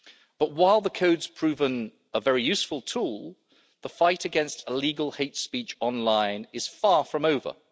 But, while the Code of Conduct has proved a very useful tool, the fight against illegal hate speech online is far from over.